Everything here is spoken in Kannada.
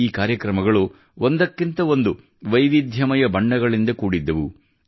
ಈ ಕಾರ್ಯಕ್ರಮಗಳು ಒಂದಕ್ಕಿಂತ ಒಂದು ವೈವಿಧ್ಯಮಯ ಬಣ್ಣಗಳಿಂದ ಕೂಡಿದ್ದವು